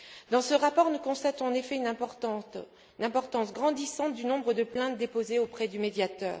Dans ce rapport, nous constatons en effet l'importance grandissante du nombre de plaintes déposées auprès du médiateur.